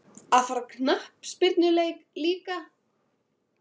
Að fara á knattspyrnuleik líka?